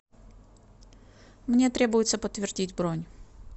мне требуется подтвердить бронь